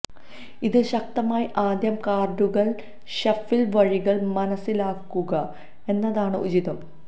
ഇത് ശക്തമായി ആദ്യം കാർഡുകൾ ഷഫിൾ വഴികൾ മനസ്സിലാക്കുക എന്നതാണ് ഉചിതം